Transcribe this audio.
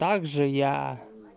так же я